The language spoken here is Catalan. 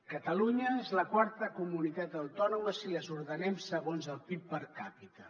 catalunya és la quarta comunitat autònoma si les ordenem segons el pib per capita